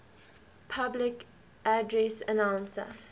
public address announcer